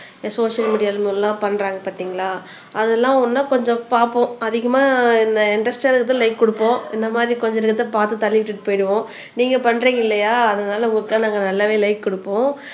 social media எல்லாம் பண்றாங்க பார்த்தீங்களா அதெல்லாம் இன்னும் கொஞ்சம் பார்ப்போம் அதிகமா இன்டரஸ்ட் இருந்தா லைக் கொடுப்போம் இந்த மாதிரி கொஞ்ச நேரத்தை பார்த்து தள்ளி விட்டுட்டு போயிடுவோம் நீங்க பண்றீங்க இல்லையா அதனால உங்களுக்கெல்லாம் நாங்க நல்லாவே லைக் குடுப்போம்